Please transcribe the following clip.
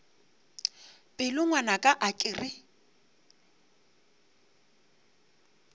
pelo ngwanaka a ke re